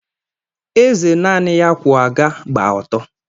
Eze naanị ya kwụ aga gba ọtọ.